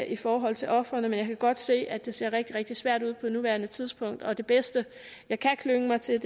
i forhold til ofrene men jeg kan godt se at det ser rigtig rigtig svært ud på nuværende tidspunkt og det bedste jeg kan klynge mig til